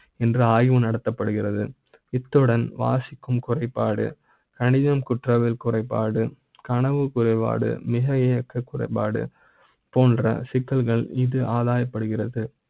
என்ற ஆய்வு நடத்தப்படுகிறது இத்துடன் வாசி க்கும் குறைப்பாடு கணித ம், குற்ற வியல் குறைபாடு கனவு குறைபாடு, மிக இயக்க குறைபாடு போன்ற சிக்கல்கள் இது ஆதாய ப்படுகிறது